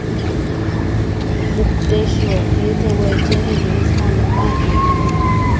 मुक्तेश्वर हे जवळचे रेल्वे स्थानक आहे.